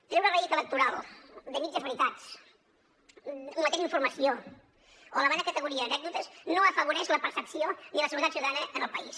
treure rèdit electoral de mitges veritats ometent informació o elevant a categoria anècdotes no afavoreix la percepció ni la seguretat ciutadana en el país